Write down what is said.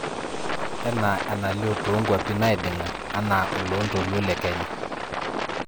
enaa enalio too nkuapi naidinga anaa oloontolou lekenya